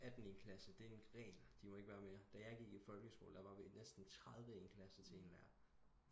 18 i en klasse det er en regl de må ikke være mere da jeg gik i folkeskole der var vi næsten 30 i en klasse til en lærer